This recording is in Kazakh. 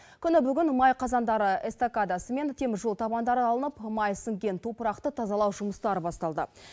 күні бүгін май қазандары эстакадасы мен теміржол табандары алынып май сіңген топырақты тазалау жұмыстары басталды